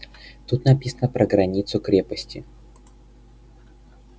тут написано про границу крепости